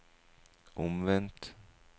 omvendt